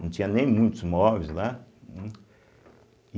Não tinha nem muitos móveis lá. hum